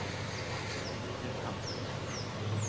Fékk hann þau?